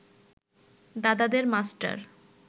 দাদাদের মাষ্টার